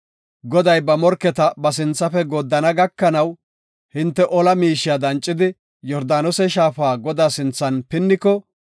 Goday ba morketa ba sinthafe gooddana gakanaw hinte ola miishiya dancidi, Yordaanose shaafa Godaa sinthan pinniko,